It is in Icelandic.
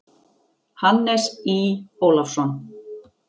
Hannes Í. Ólafsson.